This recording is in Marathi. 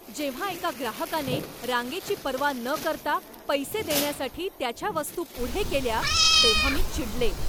जेव्हा एका ग्राहकाने रांगेची पर्वा न करता पैसे देण्यासाठी त्याच्या वस्तू पुढे केल्या तेव्हा मी चिडले.